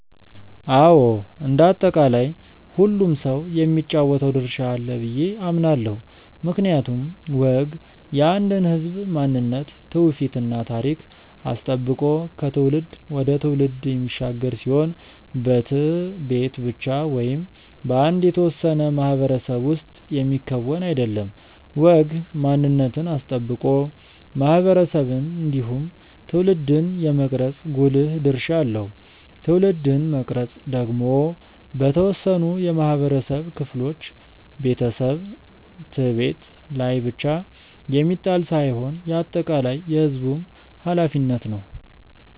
አዎ እንደ አጠቃላይ ሁሉም ሰው የሚጫወተው ድርሻ አለው ብዬ አምናለው። ምክንያቱም ወግ የአንድን ህዝብ ማንነት ትውፊት እና ታሪክ አስጠብቆ ከትውልድ ወደ ትውልድ የሚሻገር ሲሆን በት/ቤት ብቻ ወይም በአንድ የተወሰነ ማህበረሰብ ውስጥ የሚከወን አይደለም። ወግ ማንነትን አስጠብቆ ማህበረሰብን እንዲሁም ትውልድን የመቅረጽ ጉልህ ድርሻ አለው። ትውልድን መቅረጽ ደግሞ በተወሰኑ የማህበረሰብ ክፍሎች (ቤተሰብ፣ ት/ቤት) ላይ ብቻ የሚጣል ሳይሆን የአጠቃላይ የህዝቡም ኃላፊነት ነው።